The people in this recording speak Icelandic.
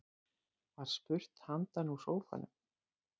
Var spurt handan úr sófanum.